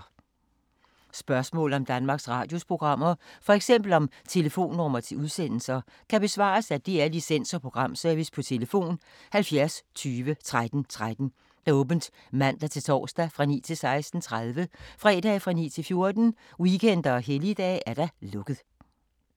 Spørgsmål om Danmarks Radios programmer, f.eks. om telefonnumre til udsendelser, kan besvares af DR Licens- og Programservice: tlf. 70 20 13 13, åbent mandag-torsdag 9.00-16.30, fredag 9.00-14.00, weekender og helligdage: lukket.